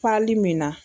min na